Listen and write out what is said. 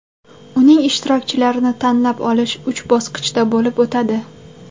Uning ishtirokchilarini tanlab olish uch bosqichda bo‘lib o‘tadi.